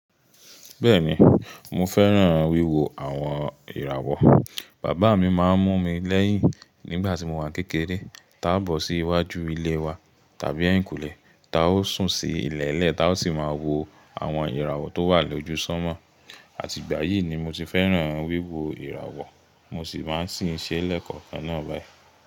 Bẹ́ẹ̀ni mo fẹ́ràn wíwo àwọn ìràwọ̀. Bàbá mi máa ń mú mi lẹ́yìn nígbà tí mo wà kékeré, tá a bọ̀ sí iwájú ilé wa tàbí ẹ̀yìnkùlẹ́, ta ó sùn sí ilẹ̀ẹ́lẹ̀ ta ó sì máa wo àwọn ìràwọ̀ tó wà lójú sánmọ̀. Àti ìgbà yìí ni mo ti fẹ́ràn wíwo ìràwọ̀ mo sì máa ń ṣì ṣe lẹ́kọ̀ọ́ ẹná báyìí.